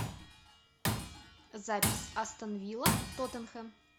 запись астон вилла тоттенхем